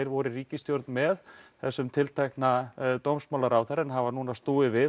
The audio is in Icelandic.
voru í ríkisstjórn með þessum tiltekna dómsmálaráðherra en hafa núna snúið við